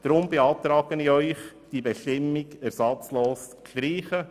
Deshalb beantrage ich Ihnen, diese neue Bestimmung ersatzlos zu streichen.